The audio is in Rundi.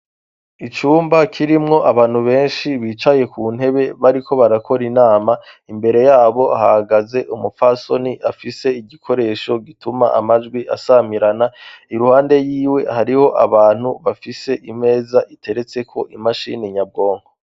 Icumba kirimwo abantu benshi bicaye ku ntebe bariko barakora inama imbere yabo hagaze umufasoni afise igikoresho gituma amajwi asamirana i ruhande yiwe hariho abantu bafise imeza iteretseko imashini nyabwonko.